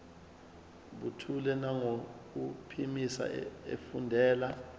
buthule nangokuphimisa efundela